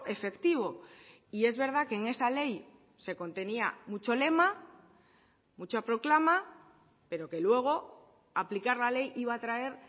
efectivo y es verdad que en esa ley se contenía mucho lema mucha proclama pero que luego aplicar la ley iba a traer